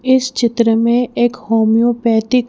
इस चित्र में एक होम्योपैथिक --